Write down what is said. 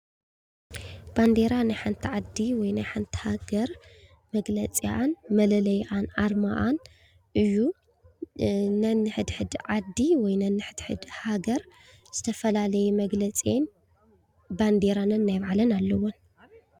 ባንዴራ ናይ ሓንቲ ዓዲ ወይ ናይ ሓንቲ ሃገር መግለጺኣን መለለይኣን ኣርማኣን እዩ። ነንሕድሕድ ዓዲ ወይ ነንሕድሕድ ሃገር ዝተፈላለየ መግለፂን ባንዴራን ነናይ ባዕለን ኣለወን።